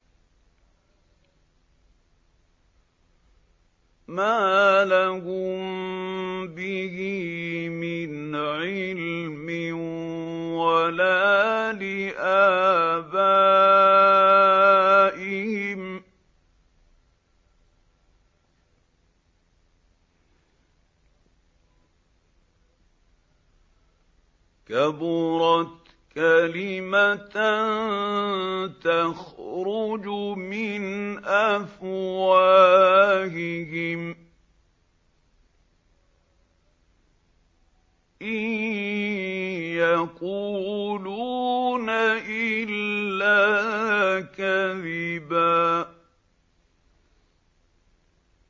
مَّا لَهُم بِهِ مِنْ عِلْمٍ وَلَا لِآبَائِهِمْ ۚ كَبُرَتْ كَلِمَةً تَخْرُجُ مِنْ أَفْوَاهِهِمْ ۚ إِن يَقُولُونَ إِلَّا كَذِبًا